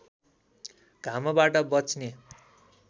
घामबाट बच्ने